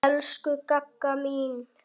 Elsku Gagga mín.